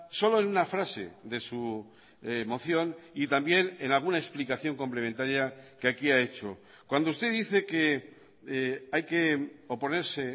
solo en una frase de su moción y también en alguna explicación complementaria que aquí ha hecho cuando usted dice que hay que oponerse